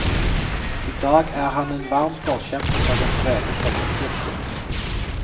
I dag er han en varm forkjemper for den brede folkekirken.